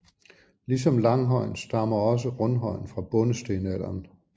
Ligesom langhøjen stammer også rundhøjen fra bondestenalderen